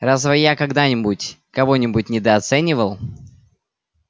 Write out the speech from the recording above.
разве я когда-нибудь кого-нибудь недооценивал